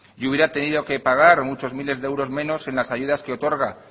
y hubiera tenido que pagar muchos miles de euros menos en las ayudas que otorga